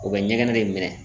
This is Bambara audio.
U bɛ ɲɛgɛnɛ de minɛ.